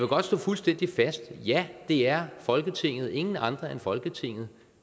godt slå fuldstændig fast at ja det er folketinget ingen andre end folketinget